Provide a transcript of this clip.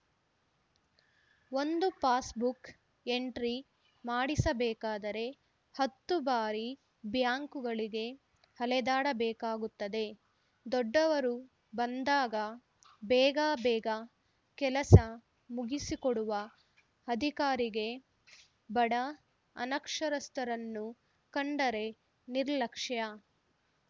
ಒಂದು passbook entry ಮಾಡಿಸಬೇಕಾದರೆ ಹತ್ತು ಬಾರಿ ಬ್ಯಾಂಕುಗಳಿಗೆ ಅಲೆದಾಡಬೇಕಾಗುತ್ತದೆ ದೊಡ್ಡವರು ಬಂದಾಗ ಬೇಗ ಬೇಗ ಕೆಲಸ ಮುಗಿಸಿಕೊಡುವ ಅಧಿಕಾರಿಗೆ ಬಡ ಅನಕ್ಷರಸ್ಥರನ್ನು ಕಂಡರೆ ನಿರ್ಲಕ್ಷ್ಯ